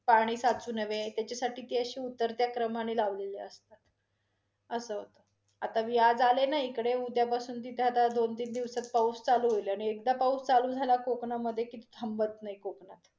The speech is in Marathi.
पाणी साचू नये त्याच्यासाठी ते आहे उतरत्या क्रमाने लावलेले असतात, अस असत. आता मी आज आले न इकडे उद्यापासून तिथे आता दोन, तीन दिवसात पाऊस चालू होईल, आणि एकदा पाऊस चालू झाला कोकणामधे की थांबत नाही कोकणात.